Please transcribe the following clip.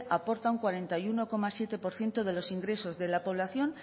aporta un cuarenta y uno coma siete por ciento de los ingresos de la población